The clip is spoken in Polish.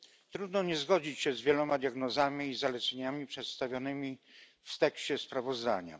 Trudno nie zgodzić się z wieloma diagnozami i zaleceniami przedstawionymi w tekście sprawozdania.